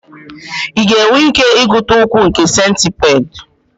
Ị ga-enwe ike ịgụta ụkwụ nke centipede